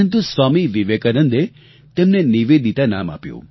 સ્વામી વિવેકાનંદે તેમને નિવેદિતા નામ આપ્યું